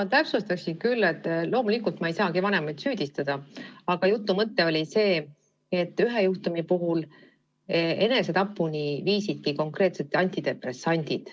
Ma täpsustaksin, et loomulikult ma ei saagi vanemaid süüdistada, aga jutu mõte oli selles, et ühe juhtumi puhul viisid enesetapuni konkreetselt antidepressandid.